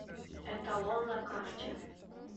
эталон на карте